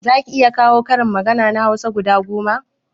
Zaki iya kawo karin magana na hausa guda goma?